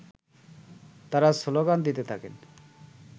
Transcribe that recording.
তারা শ্লোগান দিতে থাকেন